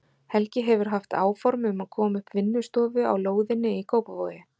Helgi hefur haft áform um að koma upp vinnustofu á lóðinni í Kópavogi.